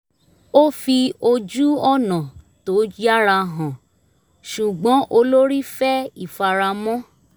ó fi ojú-ọ̀nà tó yára hàn ṣùgbọ́n olórí fẹ́ ìfaramọ́